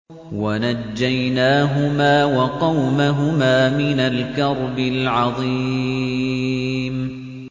وَنَجَّيْنَاهُمَا وَقَوْمَهُمَا مِنَ الْكَرْبِ الْعَظِيمِ